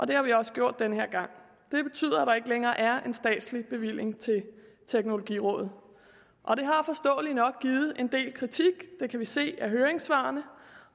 det har vi også gjort den her gang det betyder at der ikke længere er en statslig bevilling til teknologirådet og det har forståeligt nok givet en del kritik det kan vi se af høringssvarene